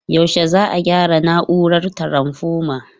Yaushe za'a gyara na'urar taranfoma?